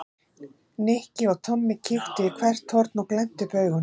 Nikki og Tommi kíktu í hvert horn og glenntu upp augun.